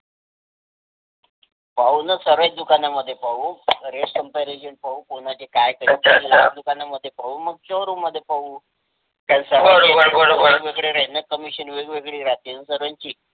पाहू न सर्वेच दुकाना मध्ये पाहू Rate Comparison पाहू कोणाचे काय ते या दुकाना मध्ये पाहू मग शोरूम मध्ये पाहू त्यांचा बरोबर कमिशन वेगवेगळे राहतील न सर्वांची.